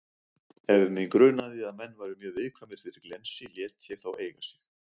Ef mig grunaði að menn væru mjög viðkvæmir fyrir glensi lét ég þá eiga sig.